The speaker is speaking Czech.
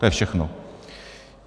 To je všechno.